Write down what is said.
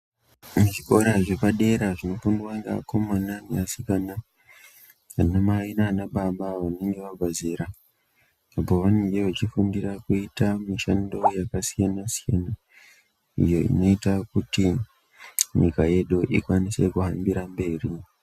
Zvikoro zvepadera zvinofundwa ngeakomana neasikana, anamai nanababa vanenge vabva zera, pavanenge vachifundira kuita mishando yakasiyana siyana iyo inoita kuti nyika yedu ikwanise kuhambira mberi.